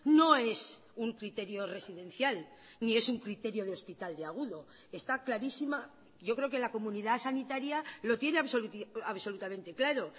no es un criterio residencial ni es un criterio de hospital de agudo esta clarísima yo creo que la comunidad sanitaria lo tiene absolutamente claro